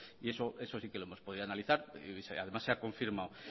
y eso sí que lo hemos podido analizar y además se ha confirmado